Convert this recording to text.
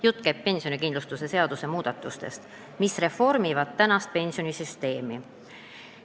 Jutt käib pensionikindlustuse seaduse muudatustest, mis reformivad tänast pensionisüsteemi.